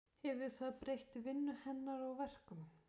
Hefur það breytt vinnu hennar og verkum?